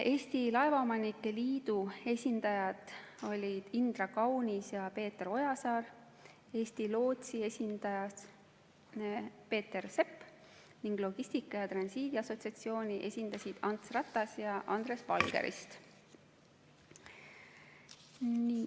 Eesti Laevaomanike Liidu esindajad olid Indra Kaunis ja Peeter Ojasaar, Eesti lootsi esindas Peeter Sepp ning Logistika ja Transiidi Assotsiatsiooni esindasid Ants Ratas ja Andres Valgerist.